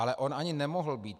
Ale on ani nemohl být.